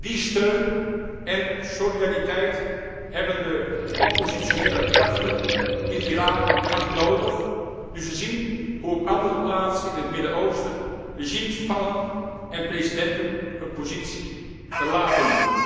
Die steun en solidariteit hebben de oppositionele krachten in Iran hard nodig, nu ze zien hoe op andere plaatsen in het Midden Oosten regimes vallen en presidenten hun positie verlaten.